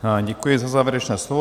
Děkuji za závěrečné slovo.